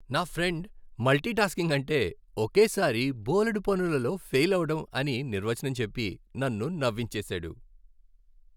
నా friend multitasking అంటే ఒకేసారి బోలెడు పనులలో ఫెయిలవ్వడం అని నిర్వచనం చెప్పి నన్ను నవ్వించేసాడు.